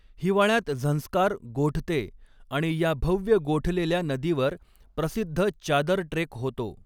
हिवाळ्यात झंस्कार गोठते आणि या भव्य गोठलेल्या नदीवर प्रसिद्ध चादर ट्रेक होतो.